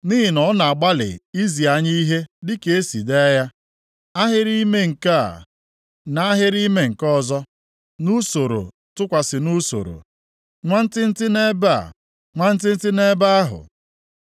Nʼihi na ọ na-agbalị izi anyị ihe dịka e si dee ya, ahịrị ime nke a, nʼahịrị ime nke ọzọ, nʼusoro tụkwasị nʼusoro, nwantịntị nʼebe a, nwantịntị nʼebe ahụ.”